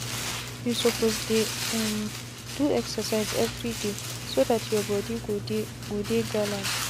you suppose dey um do excercise every dayso that your body go dey go dey gallant